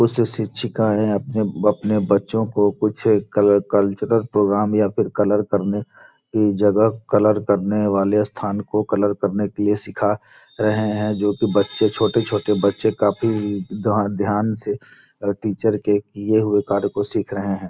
उसे शिक्षिकाएँ अपने अपने बच्चों को कुछ कलर कल्चरल प्रोग्राम या फिर कलर करने की जगह कलर करने वाले स्थान को कलर करने के लिए सिखा रहे हैं जो कि बच्चे छोटे छोटे बच्चे काफी ध्यान से टीचर के किए हुए कार्य को सीख रहे हैं |